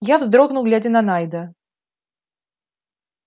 я вздрогнул глядя на найда